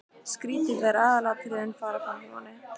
Skrýtið þegar aðalatriðin fara framhjá manni!